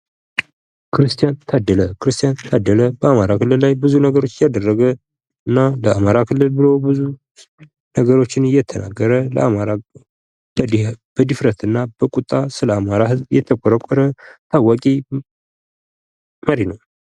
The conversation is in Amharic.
ክርስቲያን ታደለ! ክርስቲያን ታደለ በአማራ ክልል ላይ ብዙ ነገሮችን ያደረገ እና ለአማራ ክልል ብሎ ብዙ ነገሮችን የተናገረ ለአማራ በድፍረት እና በቁጣ ስለ አማራ የተከራከረ ታዋቂ መሪ ነዉ።